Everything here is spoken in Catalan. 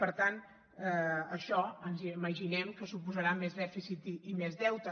per tant això ens imaginem que suposarà més dèficit i més deute